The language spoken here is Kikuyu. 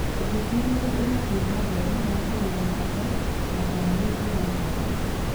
Ũthuthuria nĩ ũrathiĩ na mbere wa kũmenya bata na kana nĩ njĩra njega.